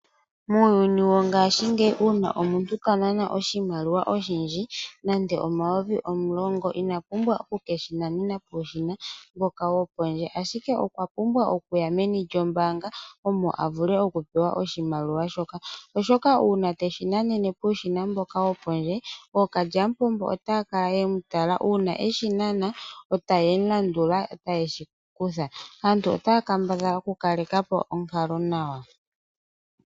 Muuyuni wongashingeyi uuna omuntu ta nana oshimaliwa oshindji nande omayovi omulongo, ina pumbwa oku ke shi nanena puushina mboka wo pondje, ashike okwa pumbwa okuyameni lyombaanga omo a vule okupewa oshimaliwa shoka. Oshoka uuna teshi nanene puushina mboka wo pondje, ookalyamupombo otaya kala ye mu tala uuna eshi nana e taye mu landula e taye shi mu kutha. Aantu otaya kambadhala okukaleka po onkalo nawa.